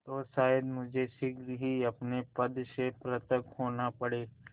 तो शायद मुझे शीघ्र ही अपने पद से पृथक होना पड़े